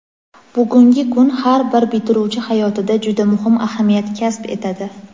Bugungi kun har bir bitiruvchi hayotida juda muhim ahamiyat kasb etadi.